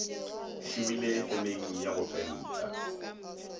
šomile femeng ya go penta